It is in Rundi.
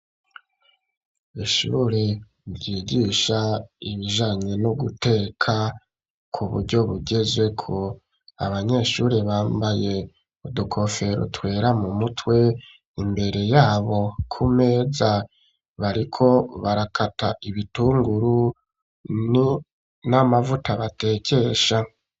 Ishuri vyigisha ibijanye no guteka ku buryo bugeze ko abanyeshure bambaye udukofero twera mu mutwe imbere yabo ku meza bariko barakata ibitunguru n'amavuta batekesha.